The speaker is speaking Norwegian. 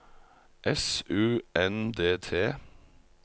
S U N D T